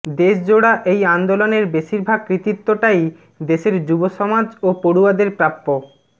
দেশজোড়া এই আন্দোলনের বেশিরভাগ কৃতিত্বটাই দেশের যুব সমাজ ও পড়ুয়াদের প্রাপ্য